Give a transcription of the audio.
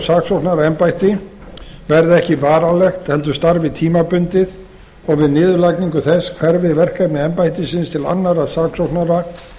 saksóknaraembætti verði ekki varanlegt heldur starfi tímabundið og við niðurlagningu þess hverfi verkefni embættisins til annarra saksóknara